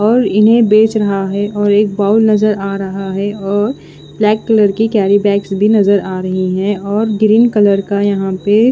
और इन्हें बेच रहा है और एक बाउल नज़र आ रहा है और ब्लैक कलर की केरिबेग्स भी नज़र आ रही है और ग्रीन कलर का यहाँ पे--